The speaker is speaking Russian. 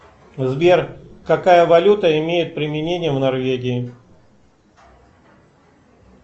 сбер какая валюта имеет применение в норвегии